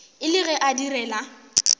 e le ge a direla